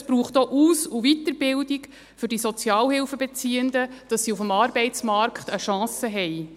Es braucht auch Aus- und Weiterbildung für die Sozialhilfebeziehenden, damit sie auf dem Arbeitsmarkt eine Chance haben.